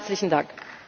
Herzlichen Dank!